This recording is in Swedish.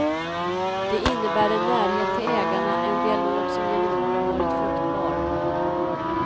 Det innebär en närhet till ägarna, en dialog som genom åren varit fruktbar.